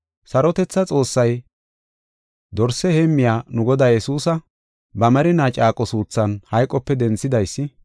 Sarotethaa Xoossay, dorsa heemmiya nu Godaa Yesuusa, ba merinaa caaqo suuthan hayqope denthidaysi,